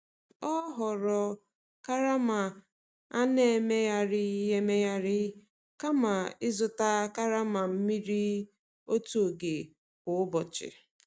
O họọrọ karama a na-emegharị emegharị kama ịzụta karama mmiri otu oge kwa ụbọchị.